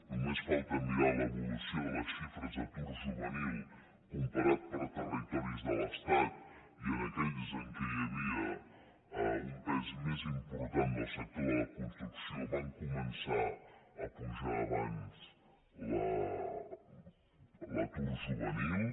només falta mirar l’evolució de les xifres d’atur juvenil comparada per territoris de l’estat i en aquells en els quals hi havia un pes més important del sector de la construcció va començar a pujar abans l’atur juvenil